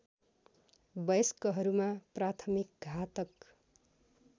वयस्कहरूमा प्राथमिक घातक